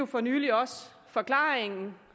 for nylig også forklaringen